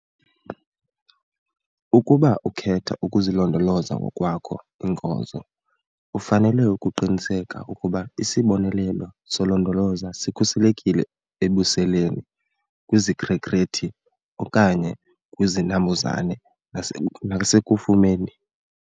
Ukuba ukhetha ukuzilondolozela ngokwakho iinkozo, ufanele ukuqiniseka ukuba isibonelelo solondolozo sikhuselekile ebuseleni, kwizikrekrethi okanye kwizinambuzane nasekufumeni.